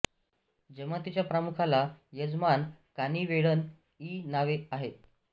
जमातीच्या प्रमुखाला यजमान कानी वेळन इ नावे आहेत